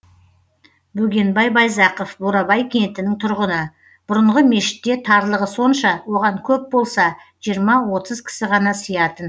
бөгенбай байзақов бурабай кентінің тұрғыны бұрынғы мешітте тарлығы сонша оған көп болса жиырма отыз кісі ғана сиятын